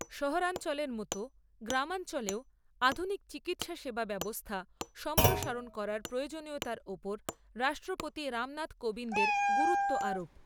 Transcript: শহরাঞ্চলের মতো গ্রামাঞ্চলেও আধুনিক চিকিৎসা সেবা ব্যবস্থা সম্প্রসারণ করার প্রয়োজনীয়তার ওপর রাষ্ট্রপতি রামনাথ কোবিন্দের গুরুত্ব আরোপ।